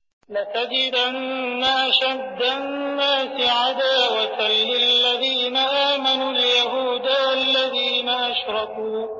۞ لَتَجِدَنَّ أَشَدَّ النَّاسِ عَدَاوَةً لِّلَّذِينَ آمَنُوا الْيَهُودَ وَالَّذِينَ أَشْرَكُوا ۖ